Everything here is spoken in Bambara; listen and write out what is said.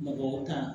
Mɔgɔ tan